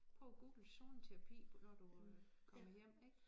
Prøv at google zoneterapi når du øh kommer hjem ik